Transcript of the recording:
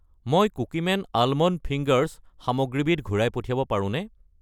মই Cookieman almond fingers সামগ্ৰীবিধ ঘূৰাই পঠিয়াব পাৰোঁনে?